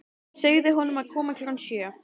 Segðu honum að koma klukkan sjö.